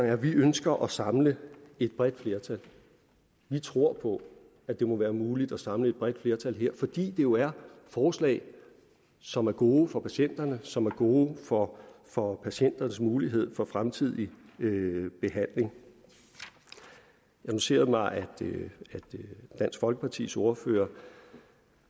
at vi ønsker at samle et bredt flertal vi tror på at det må være muligt at samle et bredt flertal her fordi det jo er forslag som er gode for patienterne som er gode for for patienternes mulighed for fremtidig behandling jeg noterede mig at dansk folkepartis ordfører